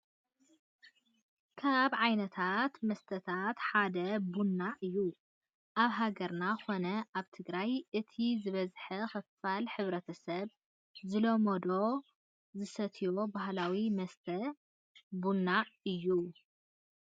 ካብ ዓይነታት መስተታት ሓደ ቡና እዩ፡፡ ኣብ ሃገርና ኮነ ኣብ ትግራይ እቲ ዝበዝሐ ክፋል ሕ/ሰብ ዝለመዶን ዝሰትዮን ባህላዊ መስተ ቡና እዩ፡፡